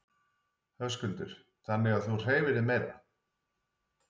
Höskuldur: Þannig að þú hreyfir þig meira?